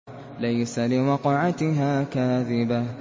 لَيْسَ لِوَقْعَتِهَا كَاذِبَةٌ